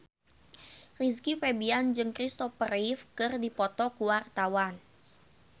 Rizky Febian jeung Christopher Reeve keur dipoto ku wartawan